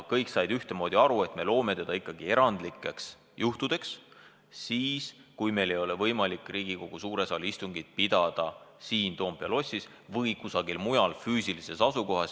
Kõik said ühtemoodi aru, et me loome selle ikkagi erandlikeks juhtudeks, kui meil ei ole võimalik Riigikogu suures saalis või kusagil mujal tavalist istungit pidada.